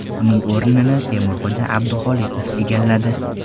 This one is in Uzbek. Uning o‘rnini Temurxo‘ja Abduxoliqov egalladi.